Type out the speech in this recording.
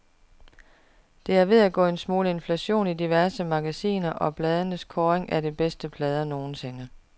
Der er ved at gå en smule inflation i diverse magasiner og blades kåringer af de bedste plader nogensinde.